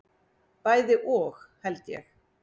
Bæði og held ég.